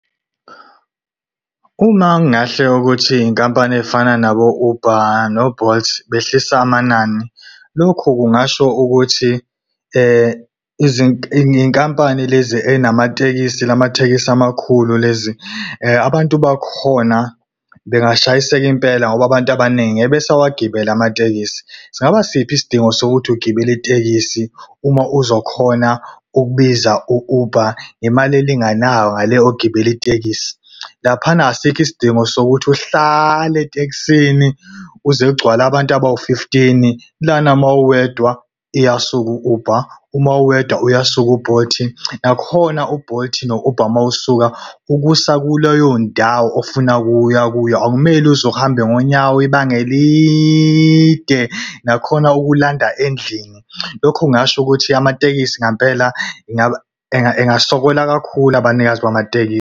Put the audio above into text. Uma kungahle ukuthi inkampani eyifana nabo-Uber no-Bolt behlisa amanani, lokhu kungasho ukuthi iy'nkampani lezi ey'namatekisi lamatekisi amakhulu lezi , abantu bakhona bengashayiseka impela ngoba abantu abaningi ngeke besawagibela amatekisi. Singaba siphi isidingo sokuthi ugibela itekisi uma uzokhona ukubiza u-Uber ngemali elinganayo ngale ogibela itekisi? Laphana asikho isidingo sokuthi uhlale etekisini kuze kugcwale abantu abawu-fifteen. Lana uma uwedwa, iyasuka u-Uber, uma uwedwa, uyasuka u-Bolt. Nakhona u-Bolt no-Uber uma usuka, ukusa kuleyo ndawo ofuna ukuya kuyo, akumele uze uhamba ngonyawo ibanga elide, nakhona ukulanda endlini. Lokho kungasho ukuthi amatekisi ngampela engasokola kakhulu abanikazi bamatekisi.